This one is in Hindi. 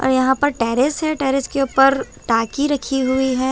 और यहाँ पर टेरेस है टेरेस के ऊपर टाकी रखी हुई है ।